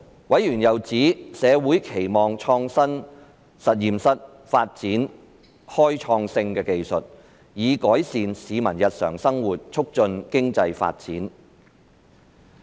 委員又指社會期望創新實驗室發展開創性的技術，以改善市民日常生活並促進經濟發展。